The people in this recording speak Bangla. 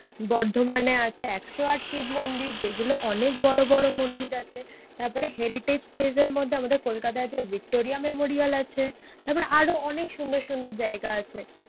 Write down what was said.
বর্ধমানে আছে একশো আট শিব মন্দির। যেগুলো অনেক বড়ো বড়ো মন্দির আছে। তারপরে heritage place এর মধ্যে আমাদের কোলকাতায় আছে ভিক্টোরিয়া মেমোরিয়াল আছে তারপর আরো সুন্দর সুন্দর জায়গা আছে।.